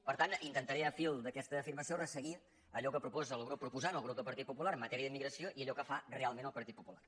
per tant intentaré al fil d’aquesta afir·mació resseguir allò que proposa el grup proposant el grup del partit popular en matèria d’immigració i allò que fa realment el partit popular